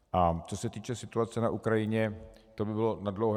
A co se týče situace na Ukrajině, to by bylo nadlouho.